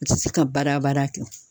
U te se ka bada bada kɛ